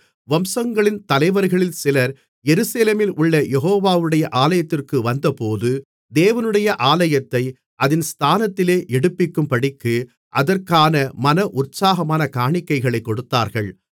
வம்சங்களின் தலைவரில் சிலர் எருசலேமிலுள்ள யெகோவாவுடைய ஆலயத்திற்கு வந்தபோது தேவனுடைய ஆலயத்தை அதன் ஸ்தானத்திலே எடுப்பிக்கும்படிக்கு அதற்கான மன உற்சாகமாகக் காணிக்கைகளைக் கொடுத்தார்கள்